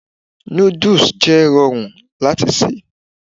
Nudus jẹ rọrun lati ṣe